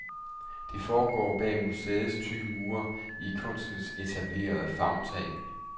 Det foregår bag museets tykke mure, i kunstens etablerede favntag.